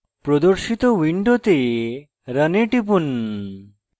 প্রদর্শিত window run এ টিপুন